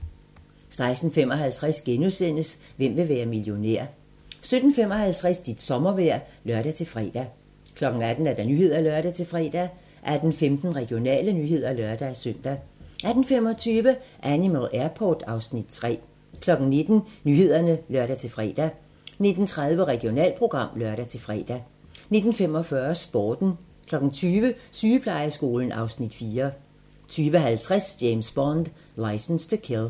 16:55: Hvem vil være millionær? * 17:55: Dit sommervejr (lør-fre) 18:00: Nyhederne (lør-fre) 18:15: Regionale nyheder (lør-søn) 18:25: Animal Airport (Afs. 3) 19:00: Nyhederne (lør-fre) 19:30: Regionalprogram (lør-fre) 19:45: Sporten 20:00: Sygeplejeskolen (Afs. 4) 20:50: James Bond: Licence to Kill